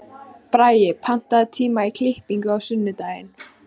Bragi, pantaðu tíma í klippingu á sunnudaginn.